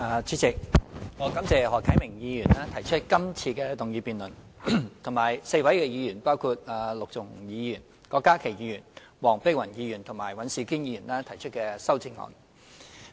主席，我感謝何啟明議員提出今次的議案辯論，以及4位議員，包括陸頌雄議員、郭家麒議員、黃碧雲議員和尹兆堅議員提出修正案。